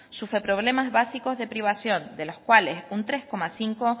sufre problemas básicos de privación de los cuales un tres coma cinco